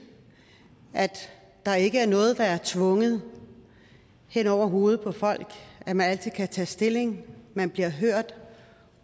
at der ikke er noget der bliver tvunget ned over hovedet på folk at man altid kan tage stilling at man bliver hørt